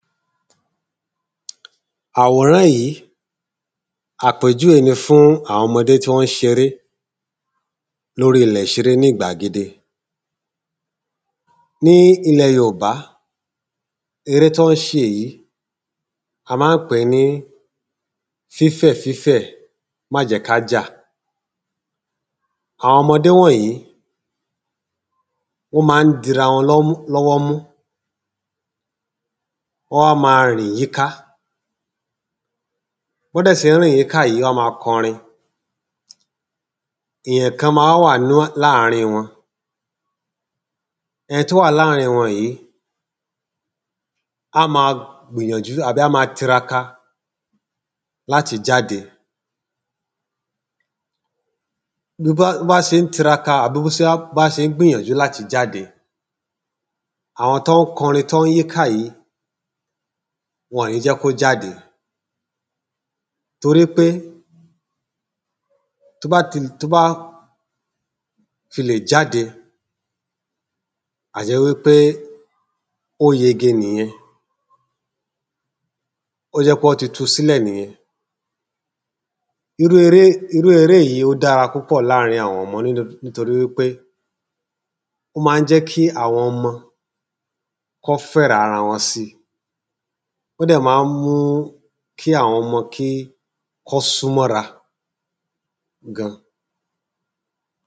Àwòrán yí, àpèjúwé ni fún àwọn ọmọdé tí wọ́n ṣ'eré. l’órí ‘lẹ̀ ‘ṣeré ní ìgbàgede Ní ilẹ̀ yoòbá, eré t’ọ́n ṣe yìí a má ń pè ní fífẹ̀ fífẹ̀ má jẹ́ k'ájà Àwọn ‘mọdé wọ̀nyí wọ́n má ń dira wọn l’ọ́wọ́ mú Wọ́n a ma rìn yí ká B’ọ́dẹ̀ ṣé ń rìn yí ká yí wọ́n a ma k'ọrin Èyàn kan ma wá wà láàrin wọn Ẹn’ t’ó wà láàrin wọn yìí á ma gbìyànjú àbí á ma tiraka l’áti jáde B’ó bá ṣé ń tiraka àbí b’ó bá ṣe ń gbìyànjú àti jáde, àwọn t’ọ́n kọrin t’ọ́n yí ká yìí wọn ní jẹ́ kó jáde torí pé t’ó bá tilè jáde a jẹ́ wí pé ó yege nìyẹn ó jẹ́ pẹ́ ọ́ ti tu s'ílẹ̀ nìyẹn irú Iré yí ó dáa púpọ̀ láàrin àwọn ọmọ nítorí wí pé ó má ń jẹ́ kí àwọn ọmọ k’ọ́ fẹ́ràn ara wọn si Ó dẹ̀ má ń mú kí àwọn ọmọ kí k’ọ́ súnmọ́ ‘ra gan.